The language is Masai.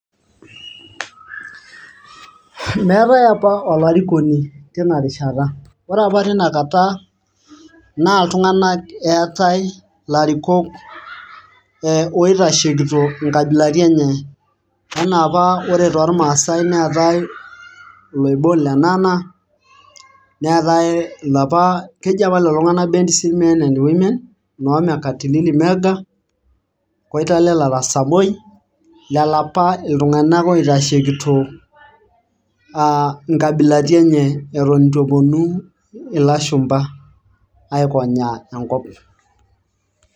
meetae apa oarikoni tena rishata, ore apa tina kata itunganak eetae ilarikok e oitashekito nkabilaiti enye anaa apa ore toormaasae neetae loibon lenana neetae ilapa ,keji apa lelo tunganak best men and women loo mekatilili wa menza ,koitalel arap samoi lelo apa iltunganak oitashekito a nkabilaitin enye eton eitu eponu ilashumba aikonyaa enkop